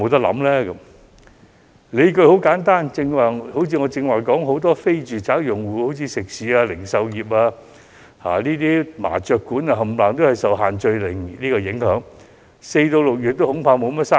理據很簡單，正如我剛才所說，很多非住宅租戶，例如食肆、零售店鋪及麻將館，全受"限聚令"影響，恐怕4月至6月都無甚生意。